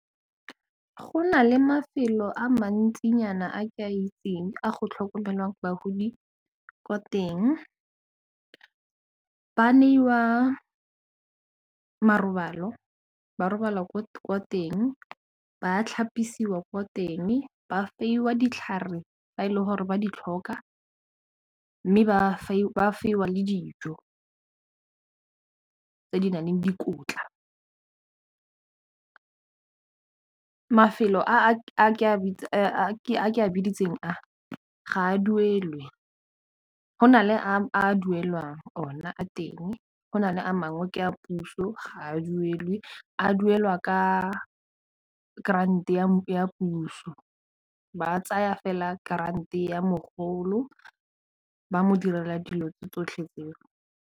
Go na le mafelo a mantsinyana a ke a itseng a go tlhokomelang bagodi kwa teng ba neiwa marobalo ba robala ko teng ba tlhapisiwa ko teng ba fiwa ditlhare ba e leng gore ba di tlhoka mme ba fiwa le dijo tse di naleng dikotla mafelo a a ke a biditse a ga a duelwe go na le a duelwang ona a teng go nale a mangwe ke a puso ga a duelwe a duelwa ka grant ya puso ba tsaya fela grant ya mogolo ba mo direla dilo tse tsotlhe tseo.